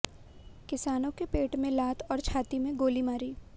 किसानों के पेट में लात और छाती में गोली मारी